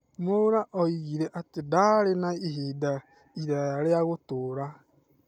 Mwaũra oigire atĩ ndaarĩ na ivinda iraya rĩa gũtũũra.